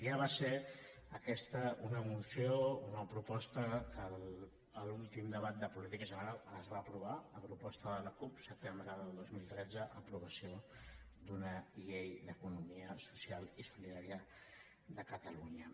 ja va ser aquesta una moció una proposta que a l’últim debat de política general es va aprovar a proposta de la cup setembre del dos mil tretze aprovació d’una llei d’economia social i solidària de catalunya